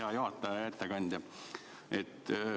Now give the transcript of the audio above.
Hea juhataja ja ettekandja!